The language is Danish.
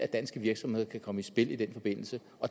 danske virksomheder kan komme i spil i den forbindelse